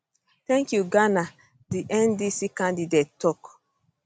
thank you ghana di ndc candidate tok